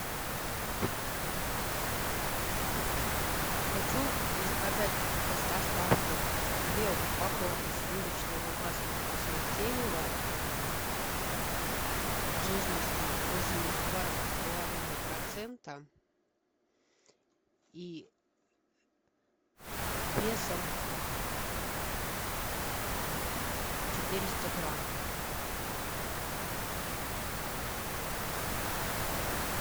хочу заказать с доставкой две упаковки сливочного масла вкуснотеево жирностью восемьдесят два с половиной процента и весом четыреста грамм